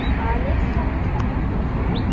আহ Next আমি চাওঁ কি আছে।